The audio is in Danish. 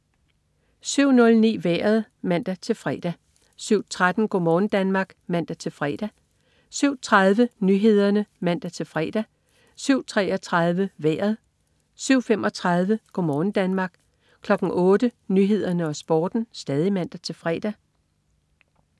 07.09 Vejret (man-fre) 07.13 Go' morgen Danmark (man-fre) 07.30 Nyhederne (man-fre) 07.33 Vejret (man-fre) 07.35 Go' morgen Danmark (man-fre) 08.00 Nyhederne og Sporten (man-fre)